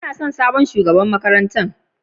Ina son San sabon shugaban makarantan.